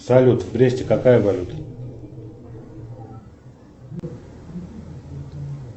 салют в бресте какая валюта